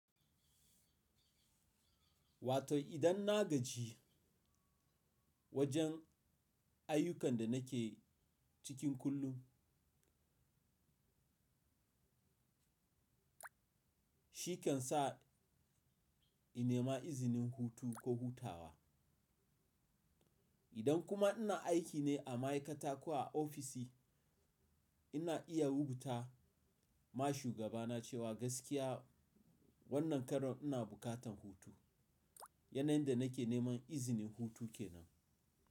Wato idan na gaji wajen ayyukan da nake cikin kullum, shi kan sa in nema izinin hutu ko hutawa. Idan kuma ina aiki ne a ma'aikata ko a ofishi, ina iya rubuta ma shugabana cewa gaskiya wannan karon ina buƙatan hutu. Yanayin da nake neman izinin hutu kenan.